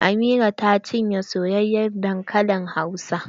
Amina ta cinye soyayen dankalin hausa.